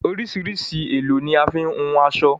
Oríṣìíríṣìí èlò ni a fi ń hun aṣọ.